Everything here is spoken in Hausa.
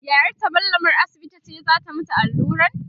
yayarta mallamar asibiti ce zata mata alluran